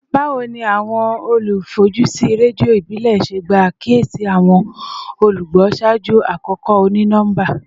Bawo ni awọn olufojusi redio ibile ṣe gba akiyesi awọn olugbo ṣaaju akoko oni-nọmba?